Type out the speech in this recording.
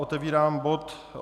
Otevírám bod